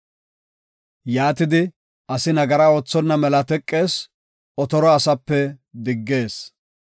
Yaatidi asi nagara oothonna mela teqees; otoro asape diggees.